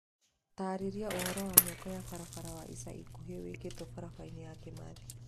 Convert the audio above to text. Taarĩria ũhoro wa mĩako ya barabara wa ica ikuhĩ wĩkĩtwo barabara ya Kimathi.